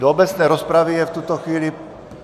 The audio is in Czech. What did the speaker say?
Do obecné rozpravy je v tuto chvíli ...